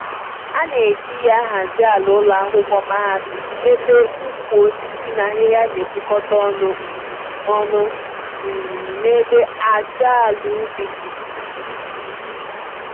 A na eji ya ahazi àlà ụlọ akwụkwọ mahadum, ébé ukwu osisi na ahịhịa nepukọta ọnụ um ọnụ um n'ebe ájá àlà ubi di